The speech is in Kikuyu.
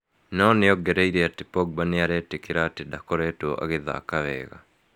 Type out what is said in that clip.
No nĩ ongereire atĩ Pogba nĩ arĩtĩkĩra atĩ ndakoretwo agĩthaka wega.